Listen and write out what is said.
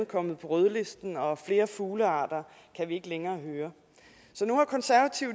kommet på rødlisten og flere fuglearter kan vi ikke længere høre så nu har konservative